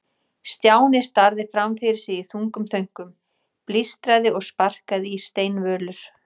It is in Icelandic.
Stjáni starði fram fyrir sig í þungum þönkum, blístraði og sparkaði í steinvölur.